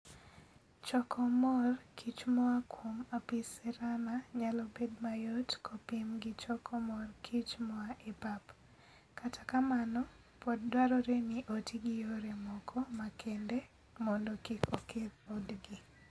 Choko mor kich moa kuom Apis cerana nyalo bedo mayot kopim gi choko mor kich moa e pap, kata kamano, pod dwarore ni oti gi yore moko makende mondo kik oketh odgi.